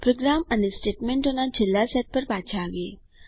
programme અને સ્ટેટમેન્ટોના છેલ્લા સેટ પર પાછા આવીએ